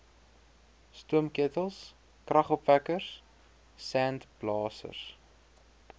stoomketels kragopwekkers sandblasers